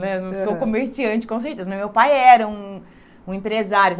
Né não sou comerciante com certeza, mas meu pai era um um empresário.